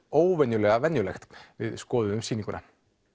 óvenjulega venjulegt við skoðuðum sýninguna